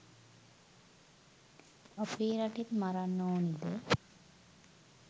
අපේ රටේත් මරන්න ඕනිද?